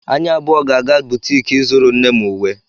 Anyị abụọ ga-aga butiki ịzụrụ nne m uwe